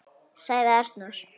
., sagði Arnór.